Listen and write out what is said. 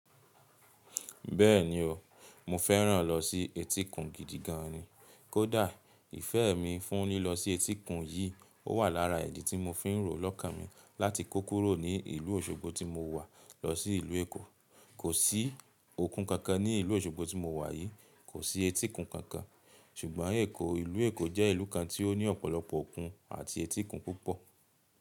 Bẹ́ẹ̀ ni o, mo fẹ́ràn lọ sí etíkun gidi gan an ni. Kódà ìfẹ́ mi fún lílọ sí etíkun yìí, ó wà lára ìdí tí mo fín rò lọ́kàmi láti kó kúrò ní ìlú Òṣogbo tí mo wà lọ sí ìlú Èkó. Kò sí okun kankan ní ìlú Òṣogbo tí mo wà yìí, kò sí etíkun kankan. Ṣùgbọ́n ìlú Èkó jẹ́ ìlú kan tí ó ní ọ̀pọ̀lọpọ̀ okun àti etíkun púpọ̀.